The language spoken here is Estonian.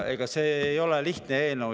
Ega see ei ole lihtne eelnõu.